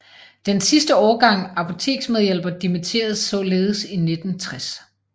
Den sidste årgang apoteksmedhjælpere dimitterede således i 1960